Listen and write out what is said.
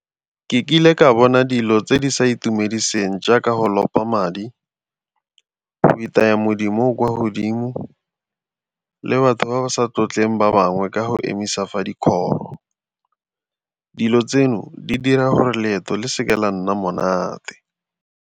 Ke kile ka bona dilo tse di sa itumediseng jaaka go lopa madi, go itaya modimo o o kwa godimo le batho ba ba sa tlotlegang ba bangwe ka go emisa fa di . Dilo tseno di dira gore leeto le seke la nna monate.